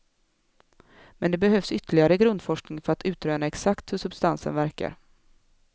Men det behövs ytterligare grundforskning för att utröna exakt hur substansen verkar.